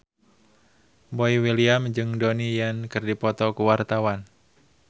Boy William jeung Donnie Yan keur dipoto ku wartawan